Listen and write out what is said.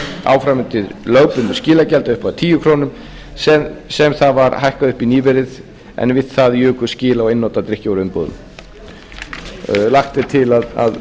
áfram undir lögbundnu skilagjaldi að upphæð tíu komma núll núll krónur sem það var hækkað upp í nýverið en við það jukust skil á einnota drykkjarvöruumbúðum lagt er til að